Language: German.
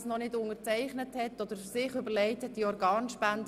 Wer sie noch nicht ausgefüllt hat, oder es sich noch nicht überlegt hat: